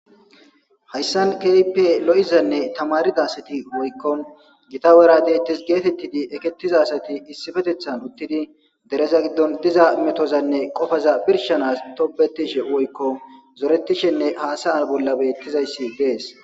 Hayssan keype lo'izanne tamarida sati woykkon gita wera deyttes geetettidi ekettiza asati issifetethan uttidi dereza giddon diza metozanne qofaza pirshanas tobetishe woykko zorettishenne haasayan bolla beettizayssi dees.